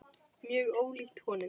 Mjög ólíkt honum.